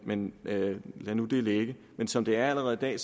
men lad nu det ligge som det er allerede i dag